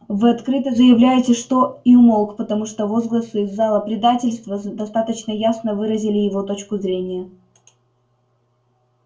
вы открыто заявляете что и умолк потому что возгласы из зала предательство достаточно ясно выразили его точку зрения